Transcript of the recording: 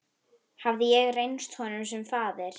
Hafði ég reynst honum sem faðir?